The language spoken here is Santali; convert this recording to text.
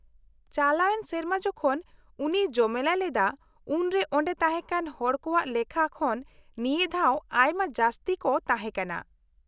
-ᱪᱟᱞᱟᱣᱮᱱ ᱥᱮᱨᱢᱟ ᱡᱚᱠᱷᱚᱱ ᱩᱱᱤᱭ ᱡᱚᱢᱮᱞᱟᱭ ᱞᱮᱫᱟ ᱩᱱᱨᱮ ᱚᱸᱰᱮ ᱛᱟᱦᱮᱸᱠᱟᱱ ᱦᱚᱲ ᱠᱚᱣᱟᱜ ᱞᱮᱠᱷᱟ ᱠᱷᱚᱱ ᱱᱤᱭᱟᱹ ᱫᱷᱟᱣ ᱟᱭᱢᱟ ᱡᱟᱹᱥᱛᱤ ᱠᱚ ᱛᱟᱦᱮᱸ ᱠᱟᱱᱟ ᱾